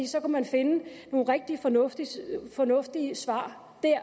så kunne man finde nogle rigtig fornuftige fornuftige svar der